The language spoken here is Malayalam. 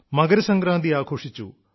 മകരസംക്രാന്തി ആഘോഷിച്ചു